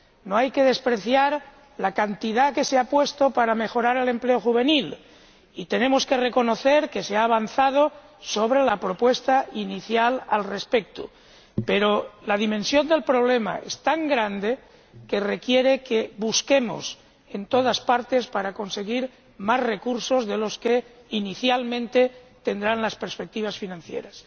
No hay que despreciar la cantidad que se ha puesto a disposición para mejorar el empleo juvenil y tenemos que reconocer que se ha avanzado en relación con la propuesta inicial al respecto, pero la dimensión del problema es tan grande que requiere que busquemos en todas partes para conseguir más recursos de los que, inicialmente, tendrán las perspectivas financieras.